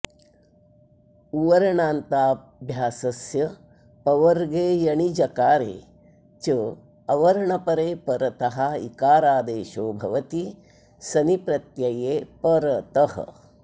उवर्णान्ताभ्यासस्य पवर्गे यणि जकारे च अवर्णपरे परतः इकारादेशो भवति सनि प्रत्यये परतः